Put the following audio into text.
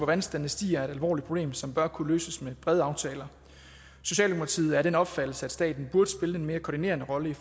vandstanden stiger er et alvorligt problem som bør kunne løses med brede aftaler socialdemokratiet er af den opfattelse at staten burde spille en mere koordinerende rolle i